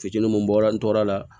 Fitini mun bɔra n tora